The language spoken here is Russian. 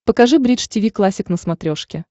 покажи бридж тиви классик на смотрешке